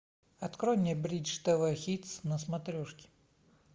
открой мне бридж тв хитс на смотрешке